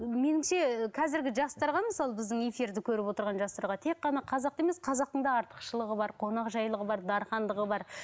меніңше қазіргі жастарға мысалы біздің эфирді көріп отырған жастарға тек қана қазақты емес қазақтың да артықшылығы бар қонақжайлығы бар дархандығы бар